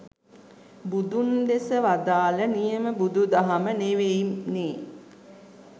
බුදුන් දෙස වදාළ නියම බුදු දහම නෙවෙයි නේ